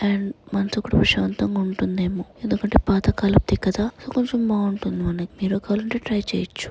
And మనసు కూడా ప్రశాంతంగా ఉంటుందేమో.ఎందుకంటే పాతకాలపుది కదా ఇంకొంచెం బాగుంటుంది మనకి మీరు కావాలంటే ట్రై చేయచ్చు.